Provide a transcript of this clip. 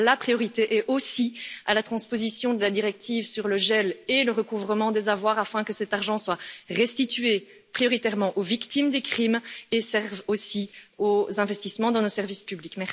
Et donc la priorité est aussi à la transposition de la directive sur le gel et le recouvrement des avoirs afin que cet argent soit restitué prioritairement aux victimes des crimes et serve aussi aux investissements dans nos services publics.